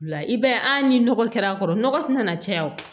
La i b'a ye a ni nɔgɔ kɛra a kɔrɔ nɔgɔ tɛna caya